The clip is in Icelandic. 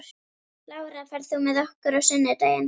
Lára, ferð þú með okkur á sunnudaginn?